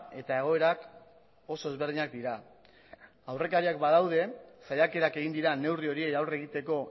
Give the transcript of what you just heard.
eta egoerak oso ezberdinak dira aurrekariak badaude saiakerak egin dira neurri horiei aurre egiteko